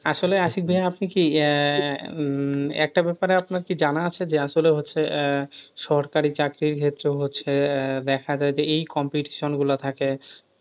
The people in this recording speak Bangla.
আসলে আশিক ভাইয়া আপনি কি একটা ব্যাপারে আপনার কি জানা আছে যে আসলে হচ্ছে সরকারি চাকরি যেহেতু আছে দেখা যায় এই competition গুলো থাকে,